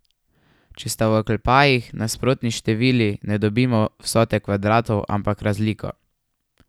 Če sta v oklepajih nasprotni števili, ne dobimo vsote kvadratov, ampak razliko.